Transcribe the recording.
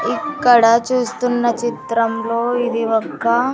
ఇక్కడ చూస్తున్న చిత్రంలో ఇది ఒక.